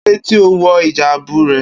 Kílódé tí o ò wo̩ ìjáàbù re̩?